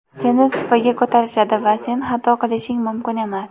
seni supaga ko‘tarishadi va sen xato qilishing mumkin emas.